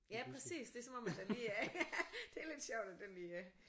Ja præcis! Det er som om at der lige ja det er lidt sjovt at den lige